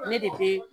Ne de be